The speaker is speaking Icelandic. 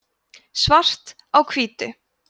svart á hvítu